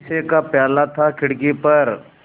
शीशे का प्याला था खिड़की पर